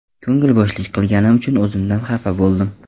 Ko‘ngli bo‘shlik qilganim uchun o‘zimdan xafa bo‘ldim.